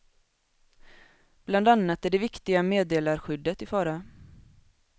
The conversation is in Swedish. Bland annat är det viktiga meddelarskyddet i fara.